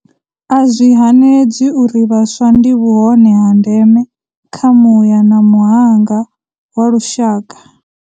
A zwi hanedzwi uri vhaswa ndi vhuhone ha ndeme kha muya na muhanga wa lushaka.